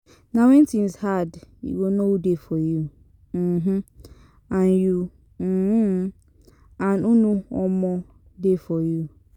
Na when things hard youy go know who dey for you um and you um and who no um dey for you